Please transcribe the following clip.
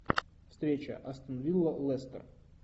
встреча астон вилла лестер